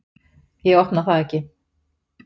Ég opna það ekki.